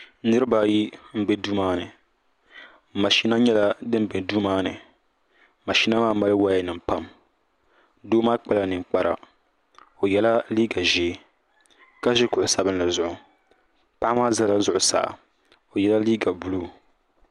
niraba ayi n bɛ duu maa ni mashina nyɛla din bɛ duu maa ni mashina maa mali woya nim pam doo maa kpala ninkpara o yɛla liiga ʒiɛ ka ʒi kuɣu sabinli zuɣu paɣa maa ʒɛla zuɣusaa o yɛla liiga buluu